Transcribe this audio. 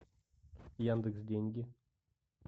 яндекс деньги